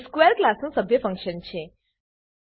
તે સ્ક્વેર ક્લાસનું સભ્ય ફંક્શન છે